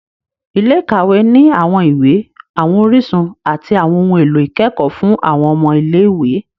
Ilé-ìkawe ni awọn iwe, awọn orísun, ati awọn ohùn èlò ikẹkọ fun awọn ọmọ ilé-ìwé